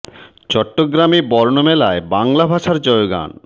চ ট্ট গ্রা মে ব র্ণ মে লা বাংলা ভাষার জয়গান